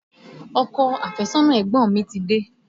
Ọkọ àfẹ́sọ́nà ẹ̀gbọ́n mi ti dé